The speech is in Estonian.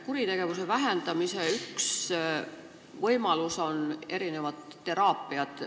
Kuritegevuse vähendamise üks võimalusi on erinevad teraapiad.